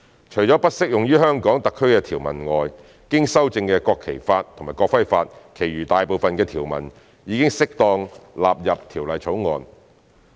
除了不適用於香港特區的條文外，經修正的《國旗法》及《國徽法》其餘大部分的條文已適當地納入《條例草案》。